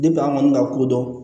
an kɔni ka kodɔn